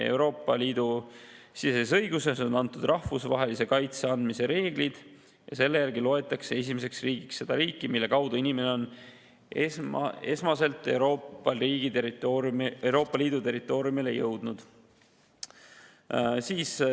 Euroopa Liidu siseses õiguses on rahvusvahelise kaitse andmise reeglid ja selle järgi loetakse esimeseks riigiks seda riiki, mille kaudu inimene on esmaselt Euroopa Liidu territooriumile jõudnud.